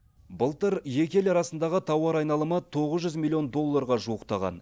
былтыр екі ел арасындағы тауар айналымы тоғыз жүз миллион долларға жуықтаған